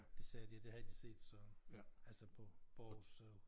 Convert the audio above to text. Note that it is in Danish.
Det sagde de at det havde de set så altså på på Aarhus